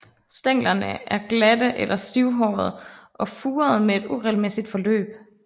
Stænglerne er glatte eller stivhårede og furede med et uregelmæssigt forløb